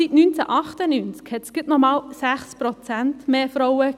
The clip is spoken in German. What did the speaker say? Seit 1998 gab es bis 2018 aber noch gerademal 6 Prozent mehr Frauen.